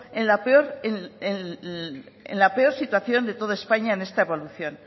en la peor situación de toda españa en esta evolución